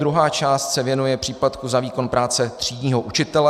Druhá část se věnuje příplatku za výkon práce třídního učitele.